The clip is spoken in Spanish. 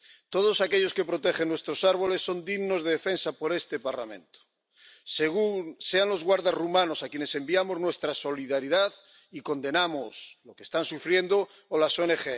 Todos aquellos que protegen nuestros árboles son dignos de defensa por este Parlamento, sean los guardas rumanos —a quienes enviamos nuestra solidaridad y condenamos lo que están sufriendo—, o las ONG.